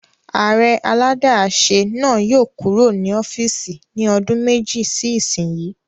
Ààrẹ aládàáṣe náà yóò kúrò ní ọ́fìsì ní ọdún méjì sí ìsínyi